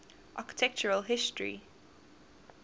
architectural history